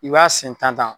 I b'a sen tan